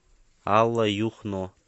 алла юхно